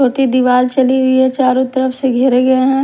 छोटी दीवाल चली हुई है चारों तरफ से घेरे गए हैं।